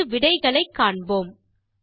இங்கு விடைகளை காண்போம்